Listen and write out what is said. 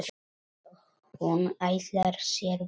Og hún ætlar sér burt.